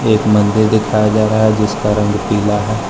एक मंदिर दिखाया जा रहा है जिसका रंग पीला है।